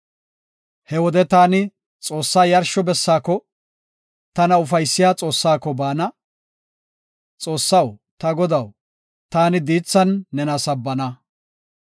He wode taani Xoossaa yarsho bessaako; tana ufaysiya Xoossaako baana. Xoossaw ta Godaw, taani diithan nena sabbana.